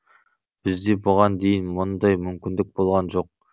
бізде бұған дейін мұндай мүмкіндік болған жоқ